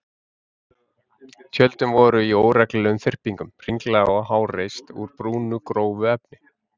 Tjöldin voru í óreglulegum þyrpingum, hringlaga og háreist úr brúnu, grófu efni.